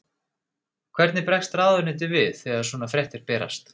Hvernig bregst ráðuneytið við þegar svona fréttir berast?